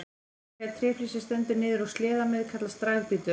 Nagli eða tréflís sem stendur niður úr sleðameið kallast dragbítur.